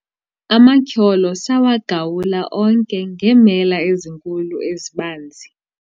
amatyholo sawagawula onke ngeemela ezinkulu ezibanzi